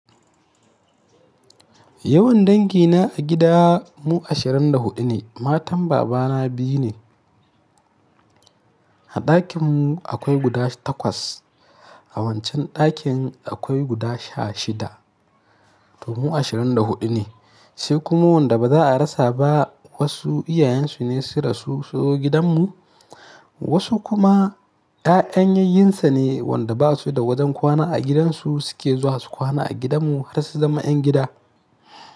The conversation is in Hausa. Yawan dangina a gida mu ashirin da huɗu ne. Matan babana biyu ne. A ɗakin mu akwai guda takwas, a wancan ɗakin akwai guda sha shida. To mu ashirin da huɗu ne. Sai kuma wanda ba za a rasa ba wasu iyayensu ne sun rasu sunzo gidanmu, wasu kuma ya'yan yayunsa ne wanda ba su da wajen kwana a gidansu suke zuwa su kwana a gidanmu har su zama 'yan gida.